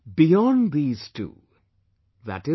Beyond these two i